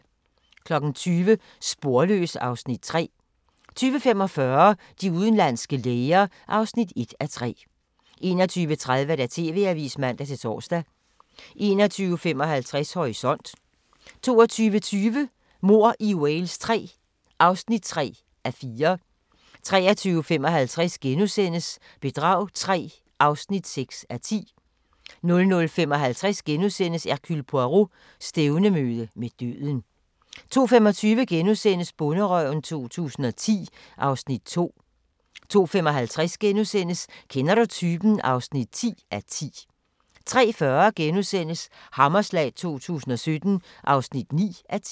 20:00: Sporløs (Afs. 3) 20:45: De udenlandske læger (1:3) 21:30: TV-avisen (man-tor) 21:55: Horisont 22:20: Mord i Wales III (3:4) 23:55: Bedrag III (6:10)* 00:55: Hercule Poirot: Stævnemøde med døden * 02:25: Bonderøven 2010 (Afs. 2)* 02:55: Kender du typen? (10:10)* 03:40: Hammerslag 2017 (9:10)*